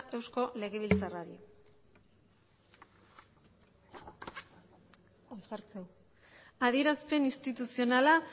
eusko legebiltzarrari adierazpen instituzionala